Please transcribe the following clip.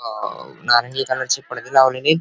आणि अ नांदेकराचे पडदे लवलेलेत --